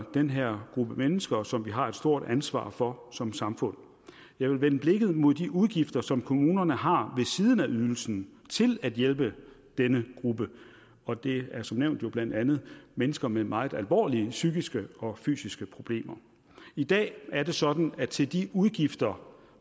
den her gruppe mennesker som vi har et stort ansvar for som samfund jeg vil vende blikket mod de udgifter som kommunerne har ved siden af ydelsen til at hjælpe denne gruppe og det er som nævnt jo blandt andet mennesker med meget alvorlige psykiske og fysiske problemer i dag er det sådan at til de udgifter